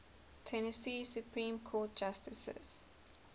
tennessee supreme court justices